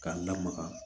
K'a lamaga